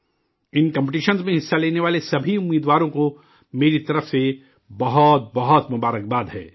ان competitions میں حصہ لینے والے سبھی امیدواروں کو میری طرف سے بہت بہت مبارکباد ہے